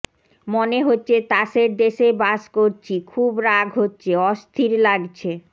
মনে হচ্ছে তাসের দেশে বাস করছি খুব রাগ হচ্ছে অস্থির লাগছে